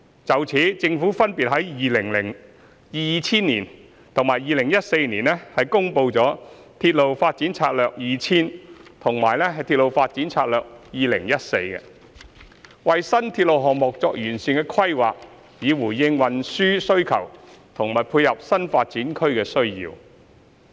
就此，政府分別在2000年及2014年公布了《鐵路發展策略2000》和《鐵路發展策略2014》，為新鐵路項目作完善規劃，以回應運輸需求和配合新發展區的需要。